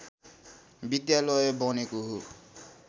विद्यालय बनेको हो